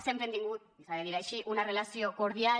sempre hem tingut i s’ha de dir així una relació cordial